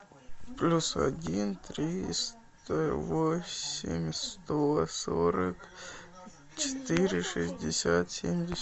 плюс один триста восемь сто сорок четыре шестьдесят семьдесят